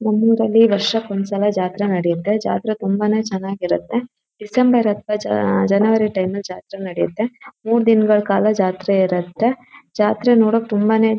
ನಮ್ಮ್ ಊರಲ್ಲಿ ವರ್ಷಕ್ಕೆ ಒಂದ್ ಸಲ ಜಾತ್ರೆ ನಡೆಯುತ್ತೆ ಜಾತ್ರೆ ತುಂಬಾನೇ ಚೆನ್ನಾಗಿರುತ್ತೆ ಡಿಸೆಂಬರ್ ಅತ್ವ ಜನವರಿ ಟೈಮ್ ಅಲ್ಲಿ ಜಾತ್ರೆ ನಡೆಯುತ್ತೆ ಮೂರ್ ದಿನಗಳ ಕಾಲ ಜಾತ್ರೆ ಇರುತ್ತೆ ಜಾತ್ರೆ ನೋಡೋಕ್ಕೆ ತುಂಬಾನೇ--